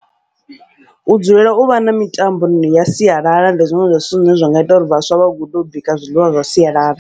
U dzulela uvha na mitamboni ya sialala ndi zwiṅwe zwa zwithu zwine zwa nga ita uri vhaswa vha gude u bika zwiḽiwa zwa sialala.